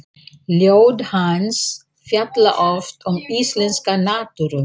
Ljóð hans fjalla oft um íslenska náttúru.